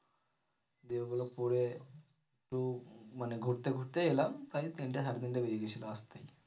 দিয়ে ওগুলো পরে একটু মানে ঘুরতে ঘুরতে এলাম তাই তিনটে সাড়ে তিনটে বেজে গেছিলো আসতে।